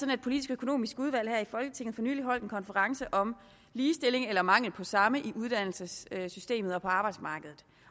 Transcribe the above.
det politisk økonomiske udvalg her i folketinget for nylig holdt en konference om ligestilling eller om manglen på samme i uddannelsessystemet og på arbejdsmarkedet